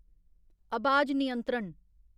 अबाज नियंत्रण